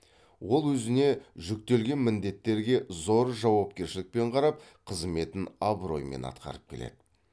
ол өзіне жүктелген міндеттерге зор жауапкершілікпен қарап қызметін абыроймен атқарып келеді